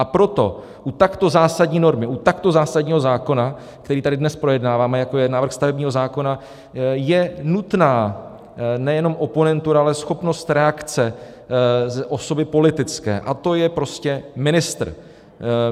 A proto u takto zásadní normy, u takto zásadního zákona, který tady dnes projednáváme, jako je návrh stavebního zákona, je nutná nejenom oponentura, ale schopnost reakce osoby politické, a to je prostě ministr.